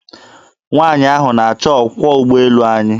Nwanyị ahụ na-achọ ọkwọ ụgboelu anyị.